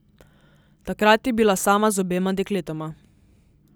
Takrat je bila sama z obema dekletoma.